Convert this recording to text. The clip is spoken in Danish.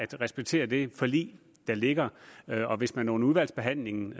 respekterer det forlig der ligger og hvis man under udvalgsbehandlingen